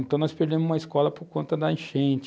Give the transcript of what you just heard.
Então, nós perdemos uma escola por conta da enchente.